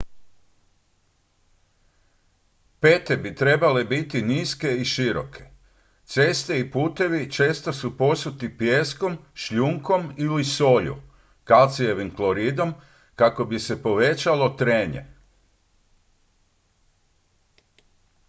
pete bi trebale biti niske i široke. ceste i putevi često su posuti pijeskom šljunkom ili solju kalcijevim kloridom kako bi se povećalo trenje